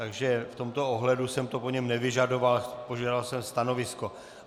Takže v tomto ohledu jsem to po něm nevyžadoval, požadoval jsem stanovisko.